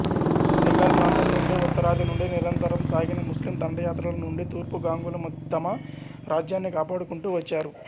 బెంగాల్ ప్రాంతంనుండి ఉత్తరాది నుండి నిరంతరం సాగిన ముస్లిం దండయాత్రల నుండి తూర్పు గాంగులు తమ రాజ్యాన్ని కాపాడుకుంటూ వచ్చారు